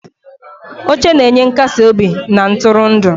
Oche na-enye nkasi obi na ntụrụndụ.